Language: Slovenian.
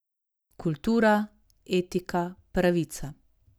Kultura, etika, pravica.